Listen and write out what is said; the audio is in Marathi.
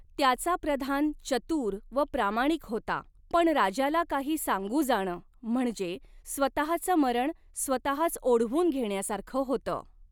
त्याचा प्रधान चतूर व प्रामाणिक होता, पण राजाला काही सांगू जाणं, म्हणजे स्वतचं मरण स्वतच ओढवून घेण्यासारखं होतं.